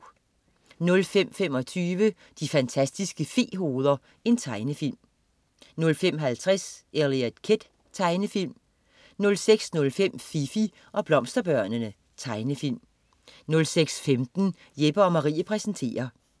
05.25 De fantastiske fe-hoveder. Tegnefilm 05.50 Eliot Kid. Tegnefilm 06.05 Fifi og Blomsterbørnene. Tegnefilm 06.15 Jeppe & Marie præsenterer